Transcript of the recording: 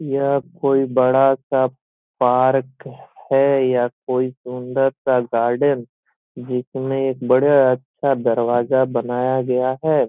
यह कोई बड़ा सा पार्क है या कोई सुंदर सा गार्डन जिसमें एक बड़ा अच्छा दरवाजा बनाया गया है।